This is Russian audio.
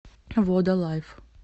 вода лайф